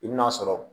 I bɛn'a sɔrɔ